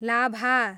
लाभा